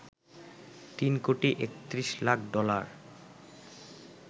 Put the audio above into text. ৩ crore ৩১ lakh dollar